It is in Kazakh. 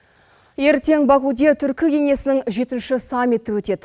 ертең бакуде түркі кеңесінің жетінші саммиті өтеді